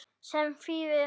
Sem þýðir?